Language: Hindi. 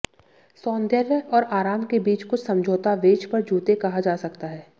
सौंदर्य और आराम के बीच कुछ समझौता वेज पर जूते कहा जा सकता है